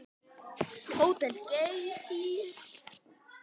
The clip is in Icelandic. Þar verður frábært útsýni.